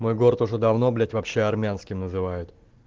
мой город уже давно блять вообще армянским называют